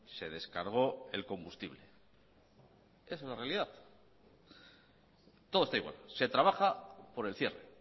se descargó el combustible esa es la realidad todo está igual se trabaja por el cierre